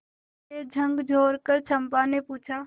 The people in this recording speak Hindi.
उसे झकझोरकर चंपा ने पूछा